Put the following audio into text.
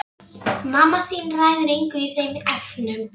Það eru hans örlög að skyggnast um og fræðast.